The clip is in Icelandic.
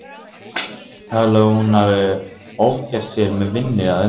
Talið að hún hafi ofgert sér með vinnu að undanförnu.